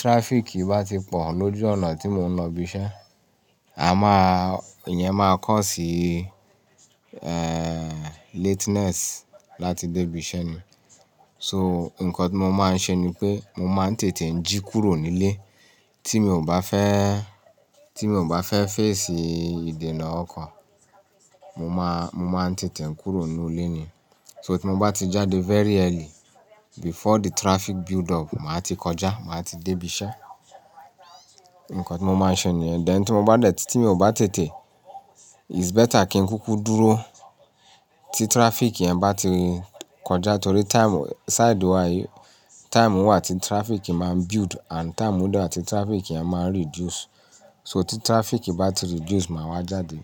traffic bá ti pọ̀ lójú ọ̀nà tí mo ń lọ ibi iṣẹ́, a máa, ìyẹn máa kọ síí, eehn, lateness láti dé ibi iṣẹ́ ni. So nǹkan tí mo máa ń ṣe ni pé mo máa ń tètè ń jí kúrò nílé. Tí mi ò bá fẹ́, tí mi ò bá fẹ́ fẹ́ẹ̀sì ìdènà ọkọ̀, mo máa, mo máa ń tètè ń kúrò nínú ilé ni. So tí mo bá ti jáde very early before the traffic build up, màá ti kọjá, màá ti dé ibi iṣẹ́. Ǹǹkan tí mo máa ń ṣe ni ẹ. Dén tí mo bá dẹ̀ tí tí mi ò bá tètè, it's better kí n kúkú dúró tí traffic yẹn bá ti kọjá. Nítorí time side wa yìí, time wà tí traffic máa build and time dà tí traffic yẹn máa reduce. So tí traffic bá ti reduce, màá wá jáde.